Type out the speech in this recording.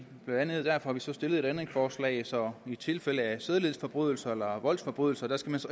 blandt andet derfor har vi stillet et ændringsforslag så i tilfælde af sædelighedsforbrydelser eller voldsforbrydelser